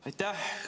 Aitäh!